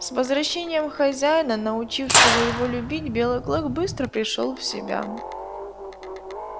с возвращением хозяина научившего его любви белый клык быстро пришёл в себя